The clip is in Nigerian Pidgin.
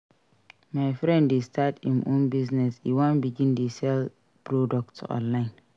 My friend dey start im own business e wan begin dey sell products online